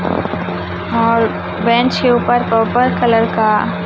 और बेंच के ऊपर पर्पल कलर का--